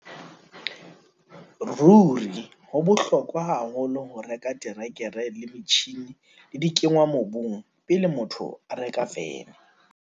Ruri, ho bohlokwa haholo ho reka terekere le metjhine le dikenngwamobung pele motho a reka vene!